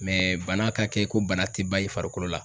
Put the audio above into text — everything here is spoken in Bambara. bana ka kɛ ko bana te ban i farikolo la